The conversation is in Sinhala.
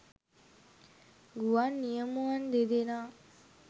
ගුවන් නියමුවන් දෙදෙනා